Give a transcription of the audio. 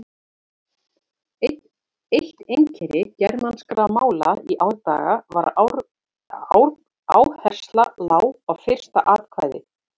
Eitt einkenni germanskra mála í árdaga var að áhersla lá á fyrsta atkvæði.